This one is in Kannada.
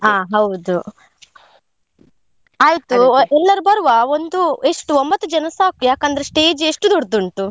ಹಾ ಹೌದು. ಎಲ್ಲರು ಬರುವ ಒಂದು ಎಷ್ಟು ಒಂಬತ್ತು ಜನ ಸಾಕು. ಯಾಕಂದ್ರೆ stage ಎಷ್ಟು ದೊಡ್ದುಂಟು?